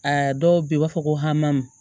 Aa dɔw bɛ yen u b'a fɔ ko hami